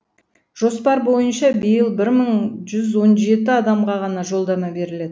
жоспар бойынша биыл бір мың жүз он жеті адамға ғана жолдама беріледі